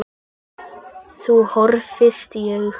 Þau horfast í augu.